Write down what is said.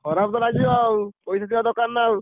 ଖରାପ ତ ଲାଗିବ ଆଉ ପଇସା ଥିବା ଦରକାର ନା ଆଉ।